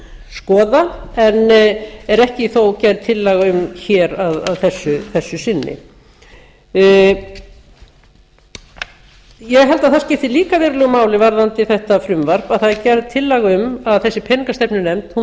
skoða en er ekki þó gerð tillaga um hér að þessu sinni ég held að það skipti líka verulegu máli varðandi þetta frumvarp að það er gerð tillaga um að þessi peningastefnunefnd